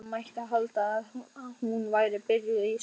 Það mætti halda að hún væri byrjuð í skóla.